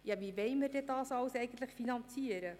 Ja, wie wollen wir denn das alles eigentlich finanzieren?